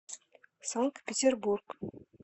санкт петербург